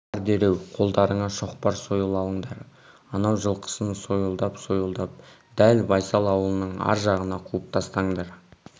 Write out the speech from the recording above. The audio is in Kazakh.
бар дереу қолдарыңа шоқпар сойыл алыңдар анау жылқысын сойылдап-сойылдап дәл байсал аулының ар жағына қуып тастаңдар